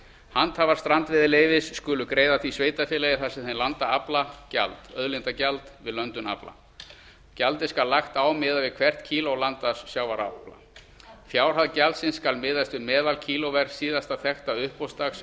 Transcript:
handhafar strandveiðileyfis skulu greiða því sveitarfélagi þar sem þeir landa afla gjald auðlindagjald við löndun afla gjaldið skal lagt á miðað við hvert kíló landaðs sjávarafla fjárhæð gjaldsins skal miðast við meðalkílóverð síðasta þekkta uppboðsdags